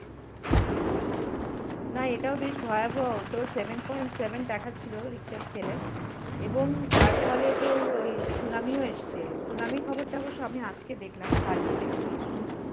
আচ্ছা. না. এটাও বেশ ভয়াবহ. তোর সেভেন পয়েন্ট সেভেন দেখাচ্ছিল richter scale এ এবং তার ফলে তোর ওই সুনামিও এসছে. সুনামির খবরটা অবশ্য আমি আজকে দেখলাম, কালকে দেখিনি. সু~